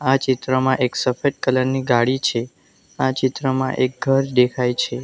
આ ચિત્રમાં એક સફેદ કલર ની ગાડી છે આ ચિત્રમાં એક ઘર દેખાય છે.